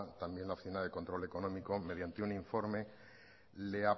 también la hacienda de control económico mediante un informe le